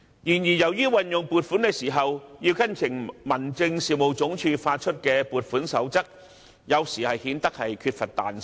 然而，由於運用撥款時要跟從民政事務總署發出的撥款守則，有時顯得缺乏彈性。